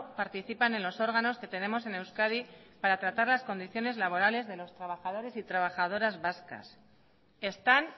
participan en los órganos que tenemos en euskadi para tratar las condiciones laborales de los trabajadores y trabajadoras vascas están